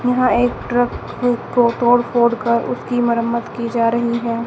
यहां एक ट्रक को तोड़ फोड़ कर उसकी मुरम्मत की जा रही है।